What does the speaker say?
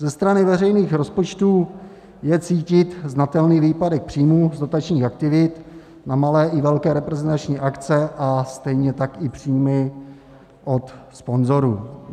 Ze strany veřejných rozpočtů je cítit znatelný výpadek příjmů z dotačních aktivit na malé i velké reprezentační akce a stejně tak i příjmy od sponzorů.